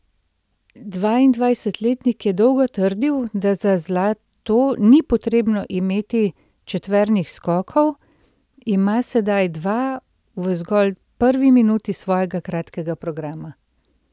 Dvaindvajsetletnik je dolgo trdil, da za zlato ni potrebno imeti četvernih skokov, ima sedaj dva v zgolj prvi minuti svojega kratkega programa.